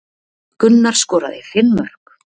Gunnar skoraði fimm mörk